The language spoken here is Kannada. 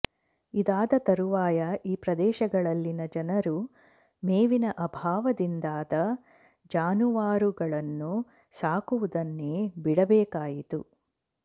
ಇದಾದ ತರುವಾಯ ಈ ಪ್ರದೇಶಗಳಲ್ಲಿನ ಜನರು ಮೇವಿನ ಅಭಾವದಿಂದಾದ ಜಾನುವಾರುಗಳನ್ನು ಸಾಕುವುದನ್ನೇ ಬಿಡಬೇಕಾಯಿತು